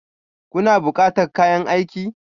Kuna bukatan kayan aiki?